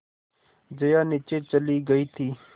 जया नीचे चली गई थी